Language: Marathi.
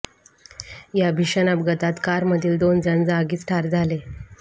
या भीषण अपघातात कार मधील दोन जण जागीच ठार झाले